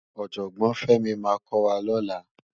Òjògbòn Femi má kò wá lòlá